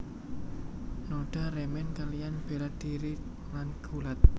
Noda remen kaliyan bela dhiri lan gulat